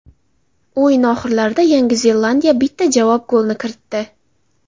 O‘yin oxirlarida Yangi Zelandiya bitta javob golni kiritdi.